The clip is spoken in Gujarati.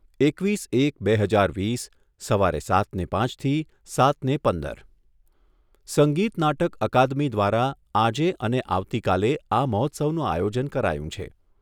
એકવીસ એક બે હજાર વીસ સવારે સાતને પાંચથી સાતને પંદર. સંગીત નાટક અકાદમી દ્વારા આજે અને આવતીકાલે આ મહોત્સવનું આયોજન કરાયું છે.